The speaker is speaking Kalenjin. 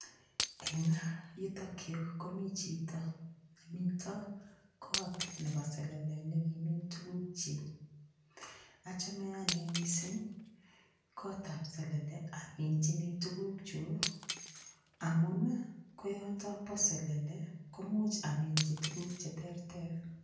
Eng' yutokyu komi chito nemito kot nebo selele nikimin tukukchi achome ane mising' kotab selele aminjini tukukchu amun koyoto bo selele komuuch aminji tukuk cheterter